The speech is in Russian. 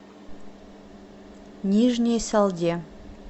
нижней салде